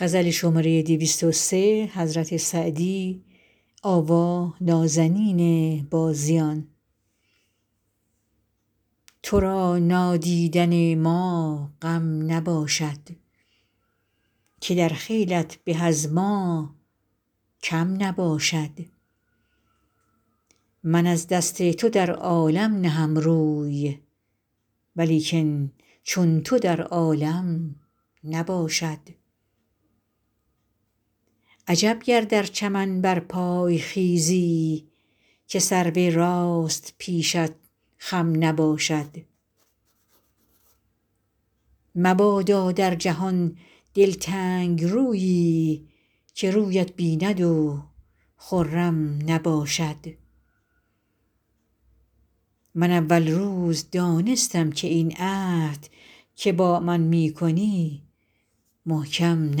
تو را نادیدن ما غم نباشد که در خیلت به از ما کم نباشد من از دست تو در عالم نهم روی ولیکن چون تو در عالم نباشد عجب گر در چمن برپای خیزی که سرو راست پیشت خم نباشد مبادا در جهان دلتنگ رویی که رویت بیند و خرم نباشد من اول روز دانستم که این عهد که با من می کنی محکم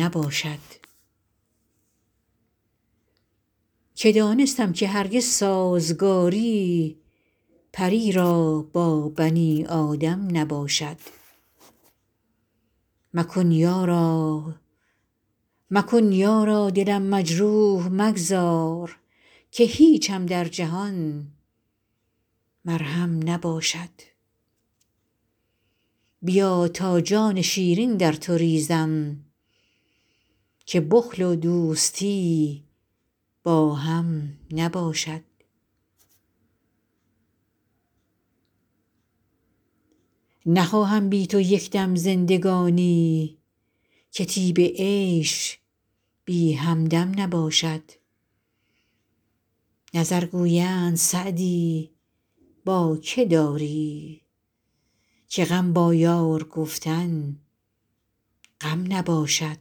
نباشد که دانستم که هرگز سازگاری پری را با بنی آدم نباشد مکن یارا دلم مجروح مگذار که هیچم در جهان مرهم نباشد بیا تا جان شیرین در تو ریزم که بخل و دوستی با هم نباشد نخواهم بی تو یک دم زندگانی که طیب عیش بی همدم نباشد نظر گویند سعدی با که داری که غم با یار گفتن غم نباشد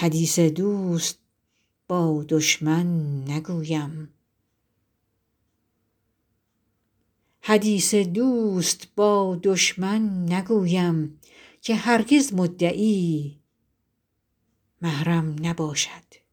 حدیث دوست با دشمن نگویم که هرگز مدعی محرم نباشد